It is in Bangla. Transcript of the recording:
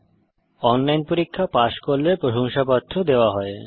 যারা অনলাইন পরীক্ষা পাস করে তাদের প্রশংসাপত্র দেওয়া হয়